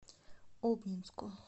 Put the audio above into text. обнинску